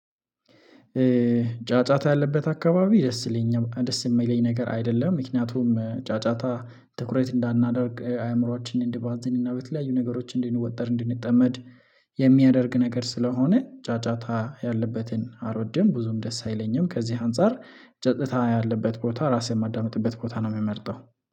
ጫጫታ ያለበት አካባቢ ደስ ይለኛል ደስ የሚለኝ ነገር አይደለም ምክንያቱም ጫጫታ ትኩረት እንዳናደርግ አእምሮአችንን እንድባዝን እና በተለያዩ ነገሮችን እንድንወጠር እንድንጠመድ የሚያደርግ ነገር ስለሆነ ጫጫታ ያለበትን አልወድም ብዙም ደስ አይለኝም። ከዚህ አንፃር ጸጥታ ያለበት ቦታ ራሴን የማዳምጥበት ቦታ ነው የሚመርጠው